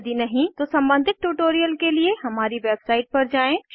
यदि नहीं तो सम्बंधित ट्यूटोरियल के लिए हमारी वेबसाइट पर जाएँ